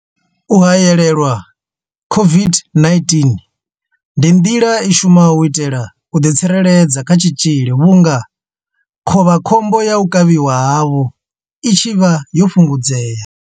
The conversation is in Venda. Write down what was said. U haelelwa COVID-19 ndi nḓila i shumaho u itela u ḓi tsireledza kha tshitzhili vhunga khovhakhombo ya u kavhiwa havho i tshi vha yo fhungudzea.